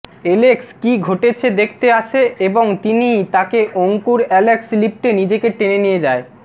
Alex কি ঘটেছে দেখতে আসে এবং তিনি তাকে অঙ্কুর অ্যালেক্স লিফ্টে নিজেকে টেনে নিয়ে যায়